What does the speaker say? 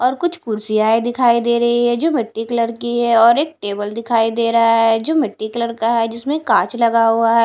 और कुछ कुर्सियांए दिखाई दे रही है जो मिट्टी कलर की है और एक टेबल दिखाई दे रहा है जो मिट्टी कलर का है जिसमें कांच लगा हुआ है।